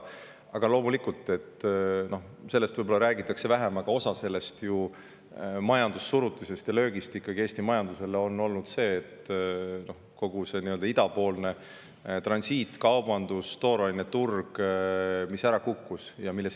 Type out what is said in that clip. Aga loomulikult, vähem räägitakse ehk sellest, et osa sellest majandussurutisest ja löögist Eesti majandusele on olnud ikkagi tingitud sellest, et kogu idapoolne transiitkaubandus ja tooraineturg on ära kukkunud.